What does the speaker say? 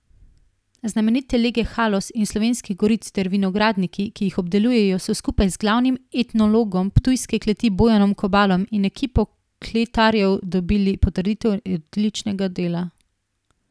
Znamenite lege Haloz in Slovenskih goric ter vinogradniki, ki jih obdelujejo, so skupaj z glavnim enologom Ptujske kleti Bojanom Kobalom in ekipo kletarjev dobili potrditev odličnega dela.